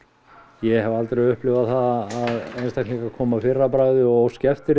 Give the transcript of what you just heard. ég hef aldrei upplifað það að einstaklingar komi að fyrra bragði og óski eftir